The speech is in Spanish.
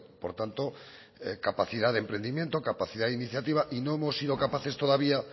por tanto capacidad de emprendimiento capacidad de iniciativa y no hemos sido capaces todavía